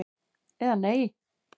eða Nei!